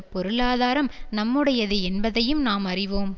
பொருளாதாரம் நம்முடையது என்பதையும் நாம் அறிவோம்